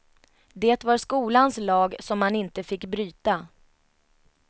Det var skolans lag som man inte fick bryta.